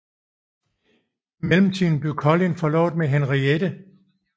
I mellemtiden blev Collin forlovet med Henriette